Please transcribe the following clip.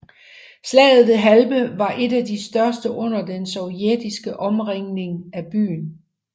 Slaget ved Halbe var et af de største under den sovjetiske omringning af byen